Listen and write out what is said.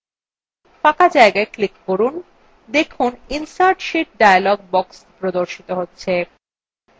ফাঁকা জায়গায় ক্লিক করলে দেখুন insert sheet dialog box প্রদর্শিত হচ্ছে